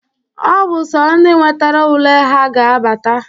Ọ bụ sọ ndị nwetara ule ha ga-abata.